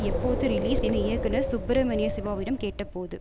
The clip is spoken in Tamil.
எப்போது ரிலீஸ் என இயக்குனர் சுப்ரமணியசிவாவிடம் கேட்டபோது